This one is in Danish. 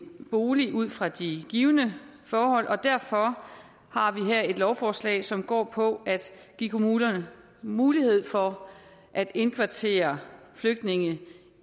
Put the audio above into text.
bolig ud fra de givne forhold og derfor har vi her et lovforslag som går på at give kommunerne mulighed for at indkvartere flygtninge